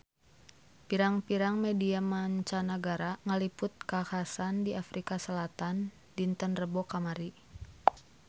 Pirang-pirang media mancanagara ngaliput kakhasan di Afrika Selatan dinten Rebo kamari